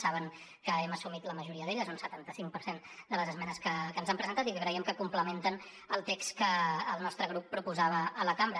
saben que hem assumit la majoria d’elles un setanta cinc per cent de les esmenes que ens han presentat i que creiem que complementen el text que el nostre grup proposava a la cambra